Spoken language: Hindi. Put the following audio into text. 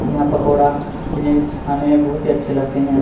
यहाँ पकौड़ा जिन्हे खाने में बहुत ही अच्छे लगते हैं।